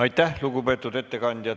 Aitäh, lugupeetud ettekandja!